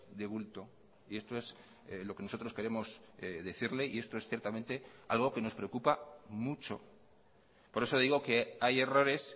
de bulto y esto es lo que nosotros queremos decirle y esto es ciertamente algo que nos preocupa mucho por eso digo que hay errores